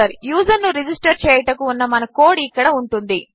యూజర్ను register చేయుటకు ఉన్న మన కోడ్ ఇక్కడ ఉంటుంది